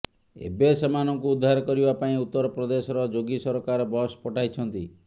ଏବେ ସେମାନଙ୍କୁ ଉଦ୍ଧାର କରିବା ପାଇଁ ଉତ୍ତର ପ୍ରଦେଶର ଯୋଗୀ ସରକାର ବସ୍ ପଠାଇଛନ୍ତି